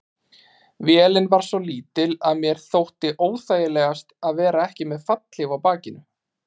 Vélin var svo lítil að mér þótti óþægilegast að vera ekki með fallhlíf á bakinu.